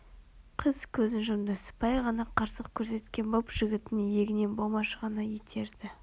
Қыз көзін жұмды сыпайы ғана қарсылық көрсеткен боп жігіттің иегінен болмашы ғана итерді